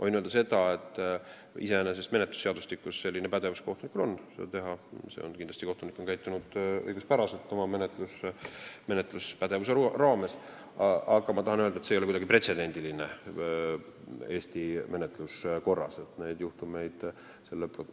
Võin öelda, et menetlusseadustiku alusel kohtunikul iseenesest selline pädevus on, kindlasti on kohtunik käitunud õiguspäraselt oma menetluspädevuse raames, aga ma tahan öelda, et see ei ole Eesti menetluskorras kindlasti pretsedent.